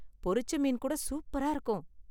பொரிச்ச மீன் கூட சூப்பரா இருக்கும்.